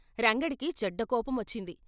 రంగడికీ చెడ్డ కోపమొచ్చింది.